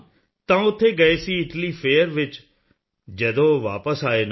ਤਾਂ ਉੱਥੇ ਗਏ ਸੀ ਇਟਾਲੀ ਫੇਅਰ ਵਿੱਚ ਜਦੋਂ ਉਹ ਵਾਪਸ ਆਏ ਨਾ